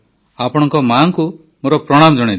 ଆପଣଙ୍କ ମାଆଙ୍କୁ ମୋର ପ୍ରଣାମ ଜଣାଇଦେବେ